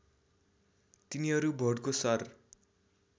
तिनीहरू भोटको शर